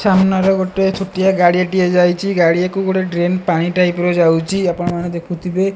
ସାମ୍ନାରେ ଗୋଟେ ଛୋଟିଆ ଗାଡିଆଟିଏ ଯାଇଚି ଗାଡିଆଟିକୁ ଗୋଟେ ଡ୍ରେନ ପାଣି ପାଇପରେ ଯାଉଚି ଆପଣମାନେ ଦେଖୁଥିବେ।